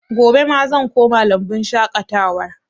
Gobe ma zan koma lambun shaƙatawar